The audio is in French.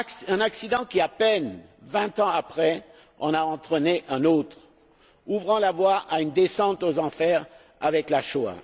Un accident qui, à peine vingt ans après, en a entraîné un autre, ouvrant la voie à une descente aux enfers avec la Shoah.